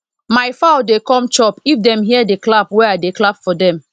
my fowl dey come chop if dem hear the clap wey i dey clap for dem